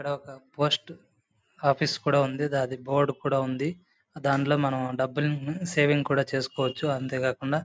ఇక్కడ ఒక post office కూడా ఉంది. అక్కడ బోర్డు కూడా ఉంది. దానిలో మనం డబ్బుకూడా సేవ్యంగ్ కూడా చేసుకోవచ్చు . అంతే కాకుండా --